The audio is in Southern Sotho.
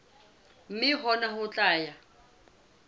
mme hona ho tla ya